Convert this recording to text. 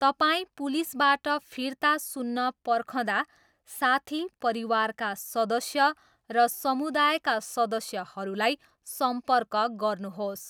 तपाईँ पुलिसबाट फिर्ता सुन्न पर्खँदा साथी, परिवारका सदस्य र समुदायका सदस्यहरूलाई सम्पर्क गर्नुहोस्।